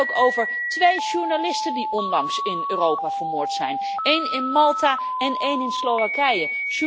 Het gaat ook over twee journalisten die onlangs in Europa vermoord zijn, één in Malta en één in Slowakije.